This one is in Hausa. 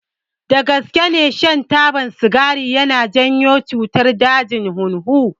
Dagaske ne shan taba sigari yana janyo cutar dajin hunhu.